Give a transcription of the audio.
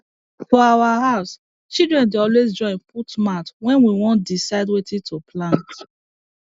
for our house children dey always join put mouth when we wan decide wetin to plant